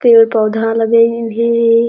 पेड़ पौधा लगे हे भी --